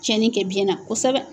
Cɛnni kɛ biyɛn na kosɛbɛ.